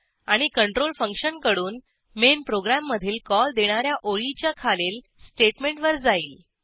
आणि कंट्रोल फंक्शनकडून मेन प्रोग्रॅममधील कॉल देणा या ओळीच्या खालील स्टेटमेंटवर जाईल